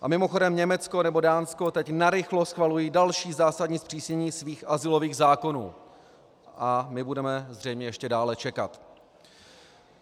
A mimochodem, Německo nebo Dánsko teď narychlo schvalují další zásadní zpřísnění svých azylových zákonů a my budeme zřejmě ještě dále čekat.